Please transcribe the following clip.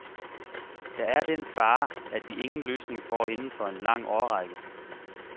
Der er den fare, at vi ingen løsning får inden for en lang årrække.